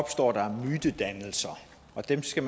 og det skal